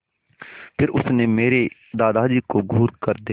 फिर उसने मेरे दादाजी को घूरकर देखा